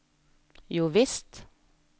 jovisst